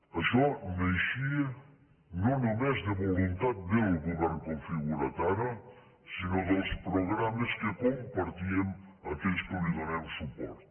això naixia no només de voluntat del govern configurat ara sinó dels programes que compartíem aquells que li donem suport